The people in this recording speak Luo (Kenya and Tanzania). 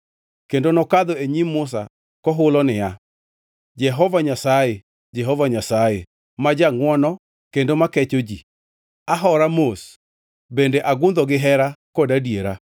Kendo nokadho e nyim Musa kohulo niya, Jehova Nyasaye, Jehova Nyasaye, ma jangʼwono kendo ma kecho ji, ahora mos bende agundho gihera kod adiera,